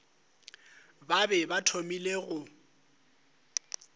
ba be ba thomile go